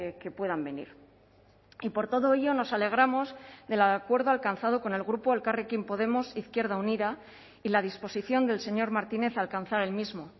que puedan venir y por todo ello nos alegramos del acuerdo alcanzado con el grupo elkarrekin podemos izquierda unida y la disposición del señor martínez a alcanzar el mismo